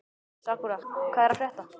Sakura, hvað er að frétta?